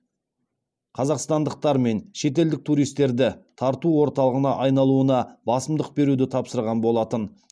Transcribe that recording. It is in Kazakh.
қазақстандықтар мен шетелдік туристерді тарту орталығына айналуына басымдық беруді тапсырған болатын